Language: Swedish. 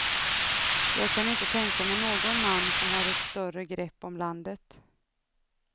Jag kan inte tänka mig någon man som har ett större grepp om landet.